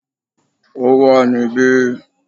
Ó wà níbí